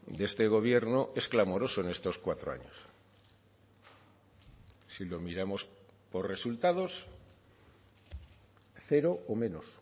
de este gobierno es clamoroso en estos cuatro años si lo miramos por resultados cero o menos